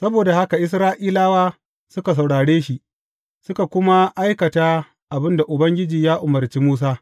Saboda haka Isra’ilawa suka saurare shi, suka kuma aikata abin da Ubangiji ya umarci Musa.